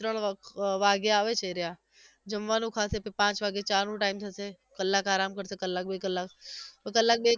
ત્રણ વ અમ વાગે આવે છે એ રિયા જમવાનું ખાશે પછી પાંચ વાગે ચા નો time થશે કલાક આરામ કરશે કલાક બે કલાક કલાક બે